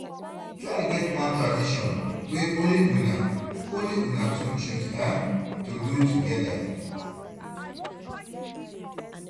try get one tradition wey only una only una two choose um to do togeda